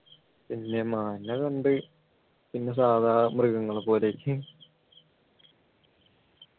പിന്നെ മാനിനെ കണ്ട് പിന്നെ സാധാ മൃഗങ്ങളെ പോലെ ആയി